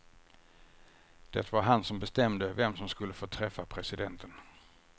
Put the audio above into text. Det var han som bestämde vem som skulle få träffa presidenten.